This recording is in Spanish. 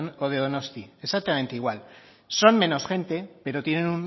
o de donostia exactamente igual son menos gente pero tienen